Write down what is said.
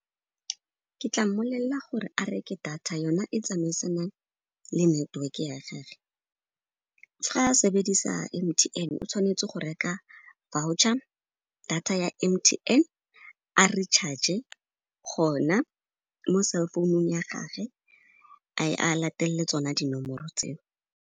Ke tla mmolella gore a reke data yona e tsamaisanang le network ya ga ge. Fa a sebedisa M_T_N, o tshwanetse go reka voucher, data ya M_T_N, a re-charge-e gona mo cell phone-ung ya gage, a latelelle tsona dinomoro tseo.